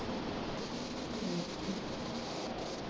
ਠੀਕ ਐ।